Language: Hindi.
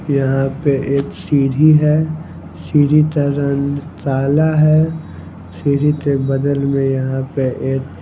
यहां पे एक सीधी है सीधी का रंग काला है सीधी के बदल में यहां पे एक।